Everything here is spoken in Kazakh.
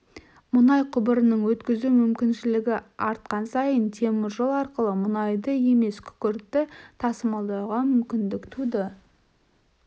мұнай құбырының өткізу мүмкіншілігі артқан сайын теміржол арқылы мұнайды емес күкіртті тасымалдауға мүмкіндік туды